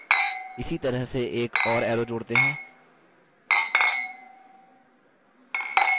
इसी तरह से एक और arrow जोड़ते हैं